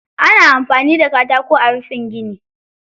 Ana amfani da katako ayi rufin gini.